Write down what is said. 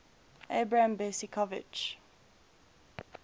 abram besicovitch